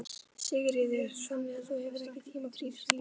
Sigríður: Þannig að þú hefur ekki tíma fyrir íþróttir líka?